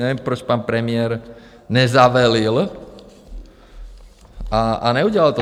Nevím, proč pan premiér nezavelel a neudělal to.